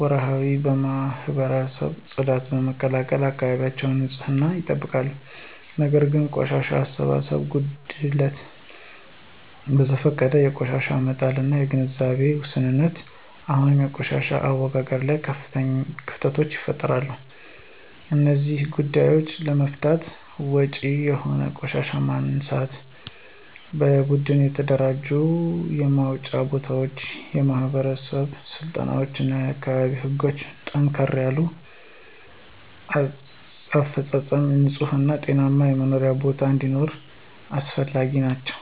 ወርሃዊ የማህበረሰብ ጽዳትን በመቀላቀል የአካባቢያቸውን ንፅህና ይጠብቃሉ። ነገር ግን የቆሻሻ አሰባሰብ ጉድለት፣ በዘፈቀደ የቆሻሻ መጣያ እና የግንዛቤ ውስንነት አሁንም በቆሻሻ አወጋገድ ላይ ክፍተቶችን ይፈጥራሉ። እነዚህን ጉዳዮች ለመፍታት ወጥ የሆነ የቆሻሻ ማንሳት፣ በደንብ የተደራጁ የማስወጫ ቦታዎች፣ የማህበረሰብ ስልጠናዎች እና የአካባቢ ህጎችን ጠንከር ያለ አፈፃፀም ንፁህ እና ጤናማ የመኖሪያ ቦታ እንዲኖር አስፈላጊ ናቸው።